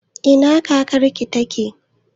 Ina kakar ki take?